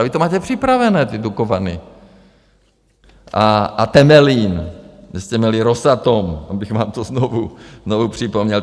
Ale vy to máte připravené, ty Dukovany a Temelín, kde jste měli Rosatom, abych vám to znovu připomněl.